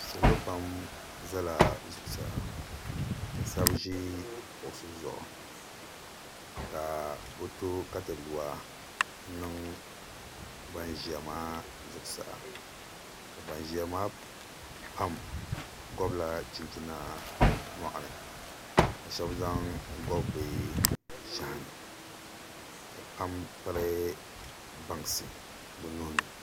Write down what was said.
Salo pam ʒɛla zuɣusaa ka shab ʒi kuɣusi zuɣu ka bi to katawiya n niŋ ban ʒiya maa zuɣusaa ka ban ʒiya maa pam gobla chinchina bi nyoɣani ka shab zaŋ gobi bi shahani ka pam piri bansi bi nuuni